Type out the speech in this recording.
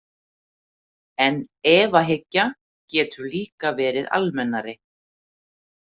En efahyggja getur líka verið almennari.